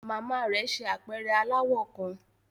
Mama rẹ ṣe apẹrẹ alawọ kan